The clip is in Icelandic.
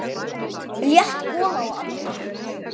Létt gola á annað markið.